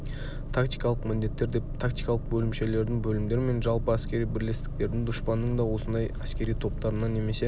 тактикалық міндеттер деп тактикалық бөлімшелердің бөлімдер мен жалпы әскери бірлестіктердің дұшпанның да осындай әскери топтарына немесе